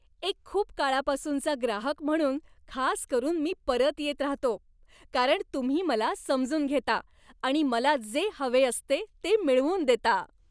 एक खूप काळापासूनचा ग्राहक म्हणून खास करून मी परत येत राहतो, कारण तुम्ही मला समजून घेता आणि मला जे हवे असते ते मिळवून देता.